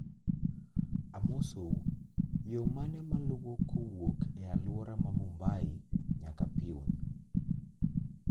Amosou, yo mane maluwo kowuok e alwora ma Mumbai nyaka Pune